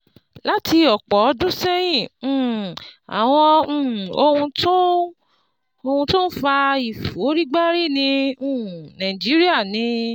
Láti ọ̀pọ̀ ọdún sẹ́yìn, um àwọn um ohun tó ń ohun tó ń fa ìforígbárí ní um Nàìjíríà ni